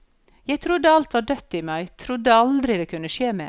Jeg trodde alt var dødt i meg, trodde aldri det kunne skje mer.